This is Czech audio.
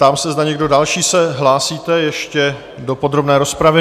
Ptám se, zda někdo další se hlásíte ještě do podrobné rozpravy?